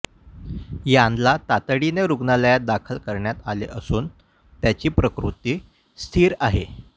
यानला तातडीने रुग्णालयात दाखल करण्यात आले असून त्याची प्रकृती स्थिर आहे